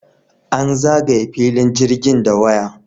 An zagaye filin jirgin da waya.